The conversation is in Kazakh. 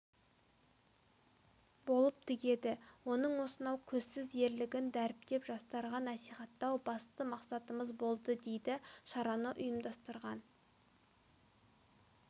болып тігеді оның осынау көзсіз ерлігін дәріптеп жастарға насихаттау басты мақсатымыз болды дейді шараны ұйымдастырған